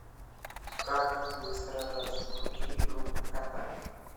как быстро раскрутить группу вконтакте